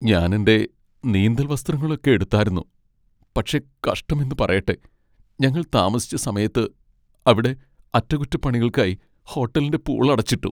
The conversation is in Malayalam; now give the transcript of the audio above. ഞാൻ എന്റെ നീന്തൽ വസ്ത്രങ്ങളൊക്കെ എടുത്താരുന്നു, പക്ഷേ കഷ്ടം എന്നു പറയട്ടെ ഞങ്ങൾ താമസിച്ച സമയത്ത് അവിടെ അറ്റകുറ്റപ്പണികൾക്കായി ഹോട്ടലിന്റെ പൂൾ അടച്ചിട്ടു.